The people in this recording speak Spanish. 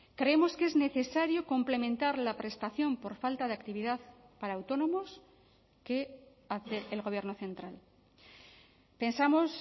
creemos que es necesario complementar la prestación por falta de actividad para autónomos que hace el gobierno central pensamos